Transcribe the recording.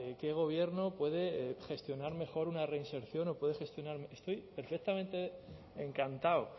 qué gobierno puede gestionar mejor una reinserción o puede gestionar estoy perfectamente encantado